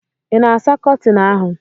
ị na-asa Kọtịn ahụ?